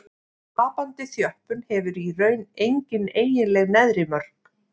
Tapandi þjöppun hefur í raun engin eiginleg neðri mörk.